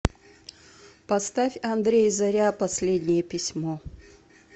поставь андрей заря последнее письмо